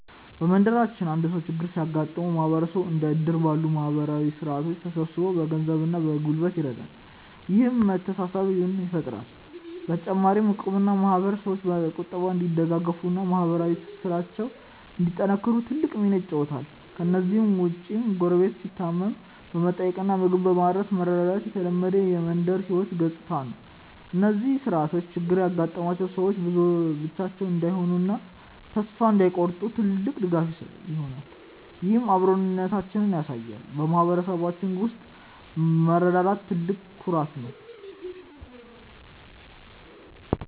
በመንደራችን አንድ ሰው ችግር ሲገጥመው ማህበረሰቡ እንደ እድር ባሉ ማህበራዊ ስርዓቶች ተሰባስቦ በገንዘብና በጉልበት ይረዳል፤ ይህም መተሳሰብን ይፈጥራል። በተጨማሪም እቁብና ማህበር ሰዎች በቁጠባ እንዲደጋገፉና ማህበራዊ ትስስራቸውን እንዲያጠናክሩ ትልቅ ሚና ይጫወታሉ። ከእነዚህ ውጭም ጎረቤት ሲታመም በመጠየቅና ምግብ በማድረስ መረዳዳት የተለመደ የመንደር ህይወት ገጽታ ነው። እነዚህ ስርዓቶች ችግር ያጋጠማቸው ሰዎች ብቻቸውን እንዳይሆኑና ተስፋ እንዳይቆርጡ ትልቅ ድጋፍ ይሆናሉ፤ ይህም አብሮነታችንን ያሳያል። በማህበረሰባችን ውስጥ መረዳዳት ትልቅ ኩራት ነው።